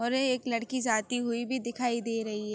और एक लड़की जाती हुई भी दिखाई दे रही है।